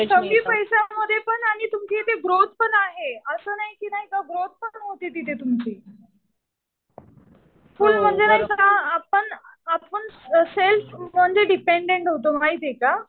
कमी पैशामध्ये पण आणि तुमची इथे ग्रोथ पण आहे. असं नाही कि ग्रोथ पण होते तिथे तुमची. फुल म्हणजे ना आपण सेल्फ म्हणजे डिपेंडेंट होतो माहितीये का.